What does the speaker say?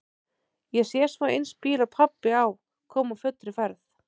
Ég sé svo eins bíl og pabbi á koma á fullri ferð.